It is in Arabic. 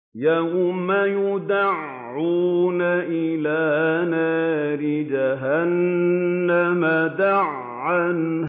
يَوْمَ يُدَعُّونَ إِلَىٰ نَارِ جَهَنَّمَ دَعًّا